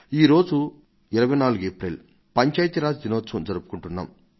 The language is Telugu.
ఈ రోజు 24 ఏప్రిల్ పంచాయతీ రాజ్ దినం జరుపుకొంటున్నాం